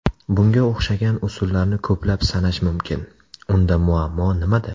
Bunga o‘xshagan usullarni ko‘plab sanash mumkin. Unda muammo nimada?